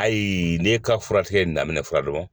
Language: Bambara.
Ayi n'e ka furakɛtigɛ in daminɛ furadama